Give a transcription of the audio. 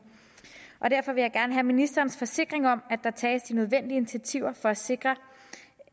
derfor vil jeg gerne have ministerens forsikring om at der tages de nødvendige initiativer for at sikre